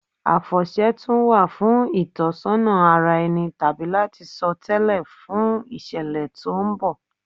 Àfọ̀ṣẹ wà fún ìtọ́sọ́nà ara ẹni tàbí láti sọ tẹ́lẹ̀ fún ìṣẹ̀lẹ̀ tó ń bọ̀.